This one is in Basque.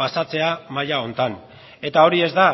pasatzea maila honetan eta hori ez da